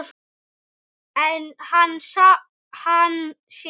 En hann sér.